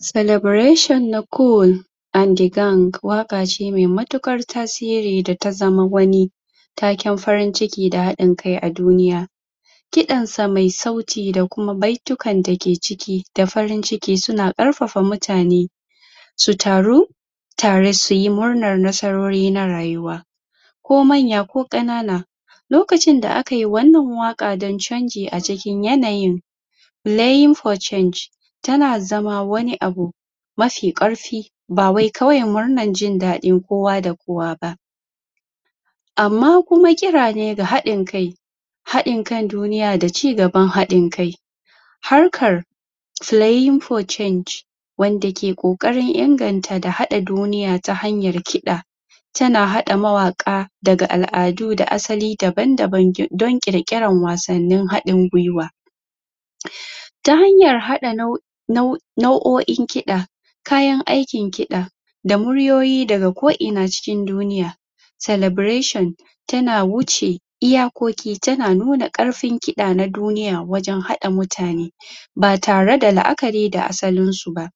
Celebration na col and the gang waka ce me matukar tasiri da ta zama wani taken farin ciki da hadin kai a duniya kidansa me sauti dakuma bai tukan dake ciki da farin ciki suna karfafa mutane su taru tare suyi murnar nasarori na rayuwa ko manya ko kanana lokacin da akai wannan waka don canji acikin yanayi laying for change tana zama wani abu mafi karfi ba wai kawai murnar jin dadi kowa da kowa amma kuma kira ne ga hadin kai hadin kan duniya da cigaban hadin kai harkar slaying for change wanda ke kokarin ingan ta da hada duniya ta hanyar kida tana hada mawaka daga al-adu da asali daban daban don kikiran wasannin hadin gwiwa ta hanya hada nau'o in kida kayan aikin kida da murwoyi daga ko ina cikin duniya celebration tana wuce iyakoki tana nuna karfin kida na duniya wajen hada mutane ba tare da laakari da asalinsu ba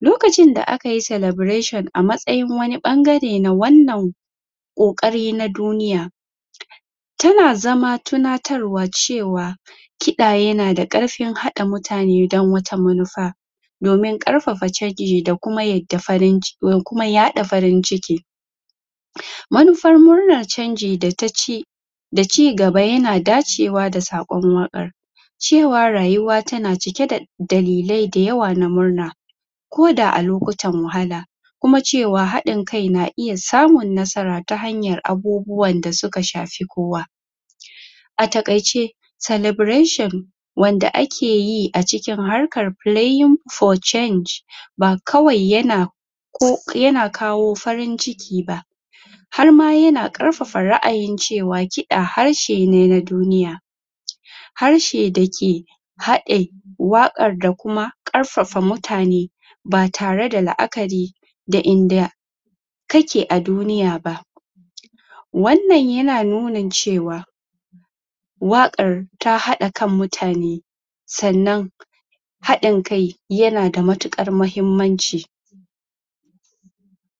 lokacin da aikayi celebration a matsayin wani bangare na wannan ko kari na duniya tana zama tunatarwa cewa kida yana da karfin hada mutane don wata manufa domin karfafa chanji da dakuma yada farin ciki manufar murnar canji da taci da cigaba yana dacewa da sakon wakan cewa rayuwa tana cike da dalilin dayawa na murna ko da a lokutan wahala kuma cewa hadin kai na iya samun nasara ta hanyar abubuwan da suka shafi kowa a takai ce celebration wanda akeyi acikin harkan playing for change ba kwai yana ko yana kawo farinciki ba harma yana karfafa ra'ayin cewa kida harshe ne na duniya harshe dake hade wakan da kuma karfafa mutane ba tare da la'akari da inda kake a duniya ba wannan yana nunin cewa wakar ta hada kan mutane sannan hadin kai yana da matukar muhimmanci